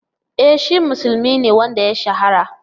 E shi musulmi ne wanda ya shahara.